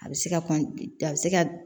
A bɛ se ka a bɛ se ka